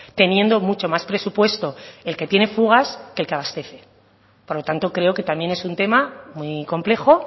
teniendo mucho más presupuesto el que tiene fugas que el que abastece por lo tanto creo que también es un tema muy complejo